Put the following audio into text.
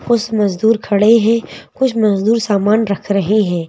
कुछ मजदूर खडे है कुछ मजदूर समान रख रहे है।